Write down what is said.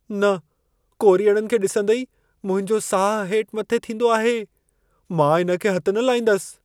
न! कोरीअड़नि खे ॾिसंदे ई मुंहिंजो साह हेठ मथे थींदो आहे। मां इन खे हथ न लाईंदसि।